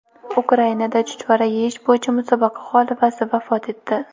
Ukrainada chuchvara yeyish bo‘yicha musobaqa g‘olibasi vafot etdi.